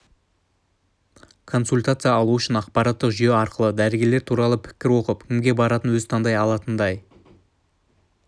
консультация алу үшін ақпараттық жүйе арқылы дәрігерлер туралы пікір оқып кімге баратынын өзі таңдай алатындай